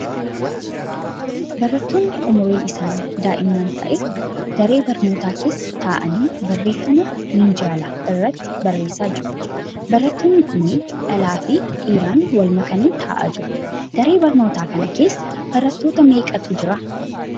Barattoonni umriin isaanii daa'imman ta'e daree barnootaa keessa ta'anii barreeffama minjaala irratti barreessaa jiru. Barattoonni kunniin dhalaa fi dhiiraan wal makanii ta'aa jiru. Daree barnootaa kana keessa barattoota meeqatu jira?